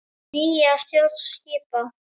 Nýja stjórn skipa.